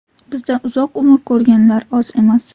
Bizda uzoq umr ko‘rganlar oz emas.